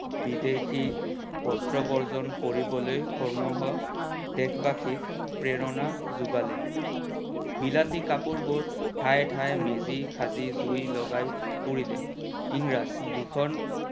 বিদেশী বস্ত্ৰ বৰ্জন কৰিবলৈ সমূহ দেশবাসীক প্ৰেৰণা জোগালে। বিলাতী কাপোৰ বোৰ ধাই ধাই মেজি সাজি জুই লগাই পুৰিলে। ইংৰাজ ভিষন